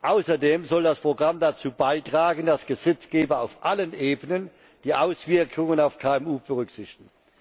Außerdem soll das Programm dazu beitragen, dass Gesetzgeber auf allen Ebenen die Auswirkungen auf KMU berücksichtigen.